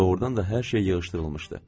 Doğrudan da hər şey yığışdırılmışdı.